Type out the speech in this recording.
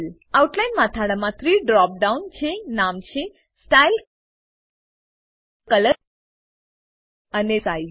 outline મથાળામાં 3 drop down છે નામ છે સ્ટાઇલ કલર અને સાઇઝ